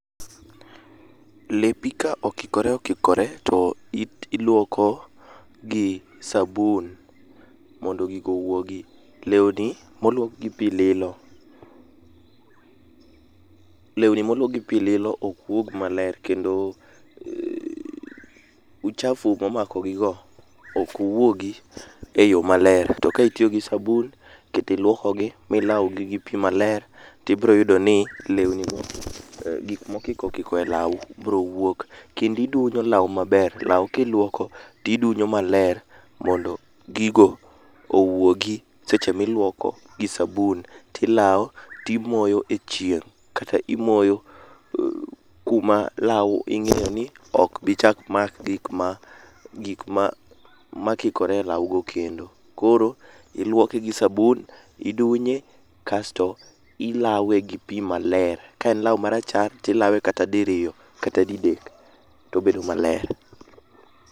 Lepi ka okikore okikore to Ilwoko gi sabun mondo gigo owuogi. Lewni moluoki gi pi lilo, lewni moluoki gi pi lilo ok wuogi maler kendo uchafu momakogigo ok wuogi e yo maler ,to kitiyo gi sabun, kendo ilwokogi milawogi gi pi maler to ibro yudo ni lewni go, gik mokiko okiko e law biro wuok kendo idunyo law maber. Law kilwoko tidunyo maler mondo gigo owuogi seche miluoko gi sabun tilawo timoyo e chieng' kata imoyo kuma law ing'eyo ni ok bi chak mak gik ma kikore e law go. Kendo koro ilwoke gi sabun, idunye kasto ilawe gi pi maler ka en law marachar, tilawe kata diriyo, kata didek tobedo maler.